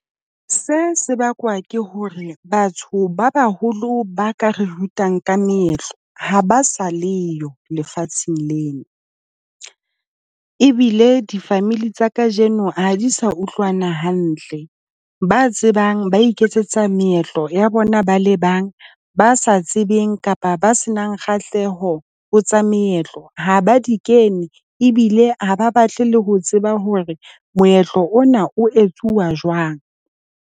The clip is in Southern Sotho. Se sebaka ke hore batho ba baholo ba ka re rutang ka meetlo ha ba sa le yo lefatsheng lena ebile di-family tsa kajeno ha di sa utlwana hantle. Ba tsebang ba iketsetsa meetlo ya bona ba le bang. Ba sa tsebeng kapa ba se nang kgahleho ho tsa meetlo ha ba di kene ebile ha ba batle le ho tseba hore moetlo ona o etsuwa jwang.